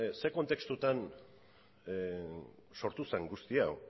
zein kontestutan sortu zen guzti hau